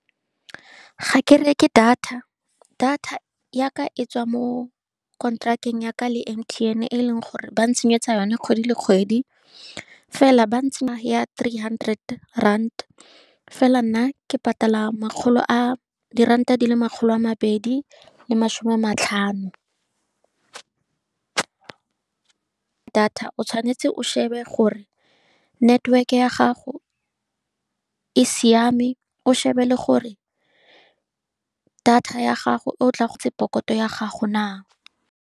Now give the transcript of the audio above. Ga ke reke data, data ya ka etswa mo konteraka ya ka le M_T_N, e e leng gore ba ntsenyetsa yone kgwedi le kgwedi. Fela, ba ya three hundred rand, fela nna ke patala makgolo a, diranta di le makgolo a mabedi le masome a matlhano. Data o tshwanetse o shebe gore network-e ya gago e siame, o shebe le gore data ya gago e o pokoto ya gago na.